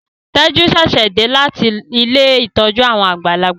Teju ṣẹṣẹ dé láti Ilé ìtọjú àwọn àgbàlagbà.